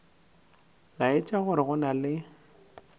laetša gore go na le